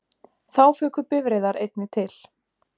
Þá fuku bifreiðar einnig til